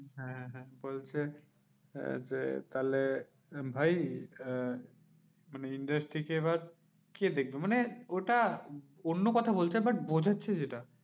হ্যাঁ হ্যাঁ হ্যাঁ বলছে আহ যে তাহলে ভাই আহ মানে, industry কে এবার কে দেখবে? মানে ওটা অন্য কথা বলছে but বোঝাচ্ছে যেটা